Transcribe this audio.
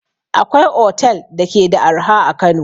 Akwai otel da ke da arha a Kano.